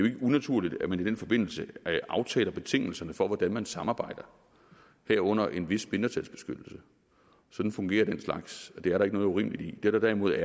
ikke unaturligt at man i den forbindelse aftaler betingelserne for hvordan man samarbejder herunder en vis mindretalsbeskyttelse sådan fungerer den slags og det er der ikke noget urimeligt i det der derimod